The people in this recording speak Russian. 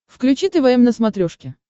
включи твм на смотрешке